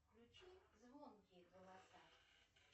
включи звонкие голоса